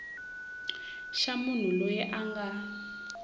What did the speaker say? xa munhu loyi a nga